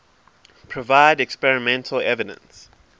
provide experimental evidence